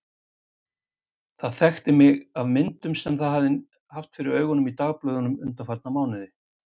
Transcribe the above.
Það þekkti mig af myndum sem það hafði haft fyrir augunum í dagblöðum undanfarna mánuði.